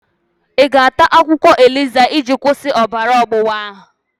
Ị ga-ata akwụkwọ iroro eliza iji kwụsị ọbara ọgbụgba ahụ?